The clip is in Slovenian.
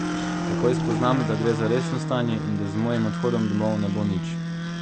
Takoj spoznam, da gre za resno stanje in da z mojim odhodom domov ne bo nič.